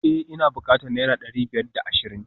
Eh ina bukatan naira dari biyar da ashirin